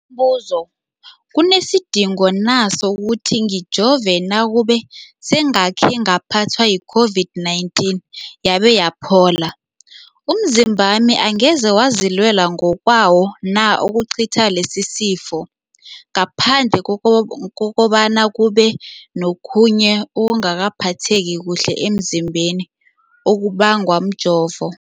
buzo, kunesidingo na sokuthi ngijove nakube sengakhe ngaphathwa yi-COVID-19 yabe yaphola? Umzimbami angeze wazilwela ngokwawo na ukucitha lesisifo, ngaphandle kobana kube nokhunye ukungaphatheki kuhle emzimbeni okubangwa mjovo?